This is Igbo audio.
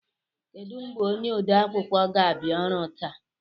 Kedụ mgbe onye ode akwụkwọ ga-abịa ọrụ taa?